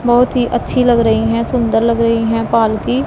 बहोत ही अच्छी लग रही है सुंदर लग रही है पालकी--